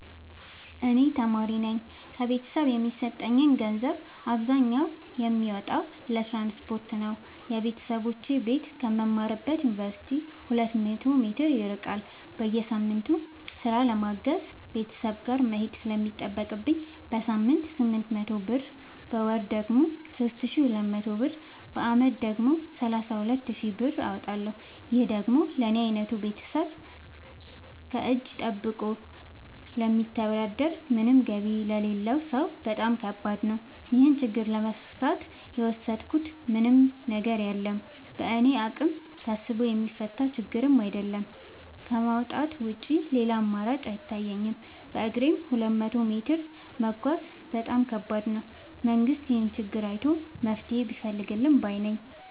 እኔ ተማሪነኝ ከቤተሰብ የሚሰጠኝን ገንዘብ አብዛኛውን የማወጣው ለትራንስፖርት ነው የበተሰቦቼ ቤት ከምማርበት ዮንቨርሲቲ ሁለት መቶ ሜትር ይርቃል። በየሳምቱ ስራ ለማገዝ ቤተሰብ ጋር መሄድ ስለሚጠቅብኝ በሳምንት ስምንት መቶ ብር በወር ደግሞ ሶስት ሺ ሁለት መቶ ብር በአመት ደግሞ ሰላሳ ሁለት ሺ ብር አወጣለሁ ይህ ደግሞ ለኔ አይነቱ ከቤተሰብ እጂ ጠብቆ ለሚተዳደር ምንም ገቢ ለሌለው ሰው በጣም ከባድ ነው። ይህን ችግር ለመፍታት የወሰድኩት ምንም ነገር የለም በእኔ አቅም ታስቦ የሚፈታ ችግርም አይደለም ከማውጣት ውጪ ሌላ አማራጭ አይታየኝም በግሬም ሁለት መቶ ሜትር መጓዝ በጣም ከባድ ነው። መንግስት ይህንን ችግር አይቶ መፍትሔ ቢፈልግልን ባይነኝ።